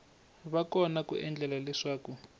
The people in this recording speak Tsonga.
va kona ku endlela leswaku